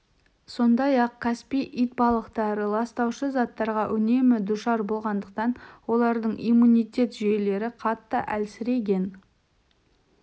сондай-ақ каспий итбалықтары ластаушы заттарға үнемі душар болғандықтан олардың иммунитет жүйелері қатты әлсіреген